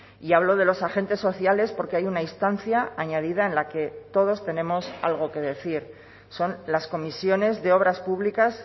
y hablo de los agentes sociales porque hay una instancia añadida en la que todos tenemos algo que decir son las comisiones de obras públicas